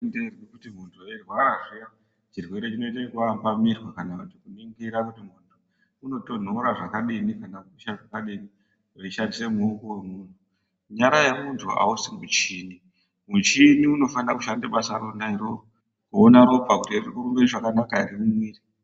Kuti muntu airwara zviya chirwere chinoita kuambamirwa kana kuningira kuti muntu unotonhora zvakadini kana kudziya zvakadini aishandisa muoko .Nyara yemuntu ausi muchini ,muchini unofanira kushanda basa rona iroro kuona ropa kuti ririkurumba zvakanaka ere .